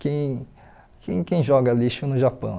Quem quem quem joga lixo no Japão?